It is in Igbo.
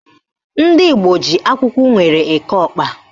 Ndị Igbo ji akwụkwọ unere eke ọkpa